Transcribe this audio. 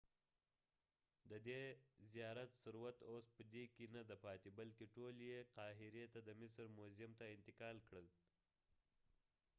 ددې زیارت ثروت اوس په دې کې نه دی پاتې بلکې ټول یې قاهرې ته د مصر موزیم ته انتقال کړل